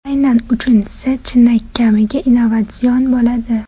Aynan uchinchisi chinakamiga innovatsion bo‘ladi.